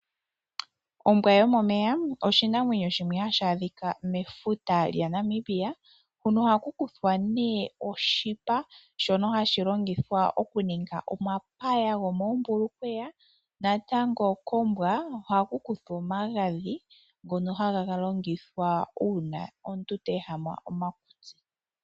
Ombwa yomomeya osho oshinamwenyo shimwe hashi adhika mefuta lya Namibia, huno ohaku kuthwa nee oshipa shono hashi longithwa oku ninga omapaya gwo moombulukweya, natango kombwa ohaku kuthwa omagadhi ngono haga longithwa uuna omuntu te ehama omakutsi.